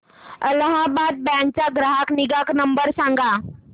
Allahabad bank चा ग्राहक निगा नंबर सांगा